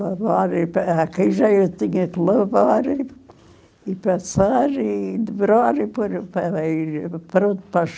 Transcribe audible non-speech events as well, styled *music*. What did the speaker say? Lavar *unintelligible* eu tinha que lavar, e e passar, e dobrar, e por aí, pronto, para as